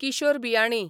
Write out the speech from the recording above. Kishore Biyani